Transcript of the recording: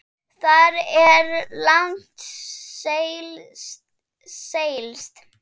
Þar er langt seilst.